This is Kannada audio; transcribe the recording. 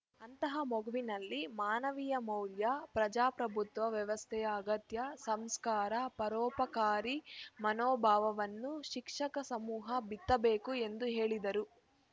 ಅಂತಹ ಮಗುವಿನಲ್ಲಿ ಮಾನವೀಯ ಮೌಲ್ಯ ಪ್ರಜಾಪ್ರಭುತ್ವ ವ್ಯವಸ್ಥೆಯ ಅಗತ್ಯ ಸಂಸ್ಕಾರ ಪರೋಪಕಾರಿ ಮನೋಭಾವವನ್ನು ಶಿಕ್ಷಕ ಸಮೂಹ ಬಿತ್ತಬೇಕು ಎಂದು ಹೇಳಿದರು